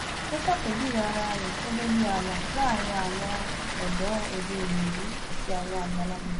ó ṣàpèjúwe ara rẹ gẹgẹ bíi ààlà láàrin àwọn ọdọ òde ìwòyí àti àwọn àgbàlagbà